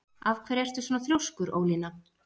Af hverju ertu svona þrjóskur, Ólína?